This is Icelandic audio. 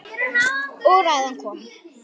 Og ræðan kom.